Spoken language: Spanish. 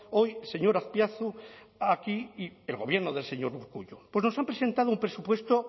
hoy señor azpiazu aquí el gobierno del señor urkullu pues nos han presentado un presupuesto